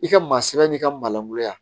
I ka maa sɛbɛn n'i ka maalankolonya